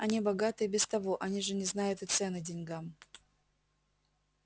они богаты и без того они же не знают и цены деньгам